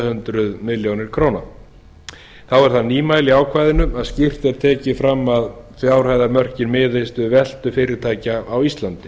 hundruð milljóna króna þá er það nýmæli í ákvæðinu að skýrt er tekið fram að fjárhæðarmörkin miðist við veltu fyrirtækja á íslandi